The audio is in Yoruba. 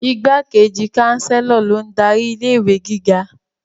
Igbákejì Chancellor lo n darí ilé-ìwé gíga